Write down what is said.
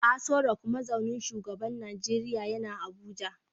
Aso Rock mazaunin shugaban Najeriya yana Abuja